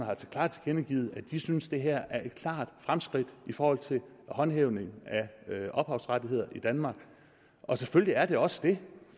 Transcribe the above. klart tilkendegivet at de synes det her er et klart fremskridt i forhold til håndhævning af ophavsrettigheder i danmark og selvfølgelig er det også det